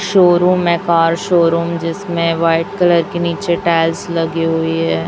Showroom है car showroom जिसमें white colour की नीचे टाइल्स लगी हुई है।